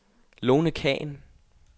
Lone Khan